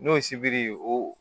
N'o sibiri o